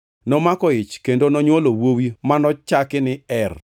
Nomako ich kendo onywolo wuowi manochaki ni Er.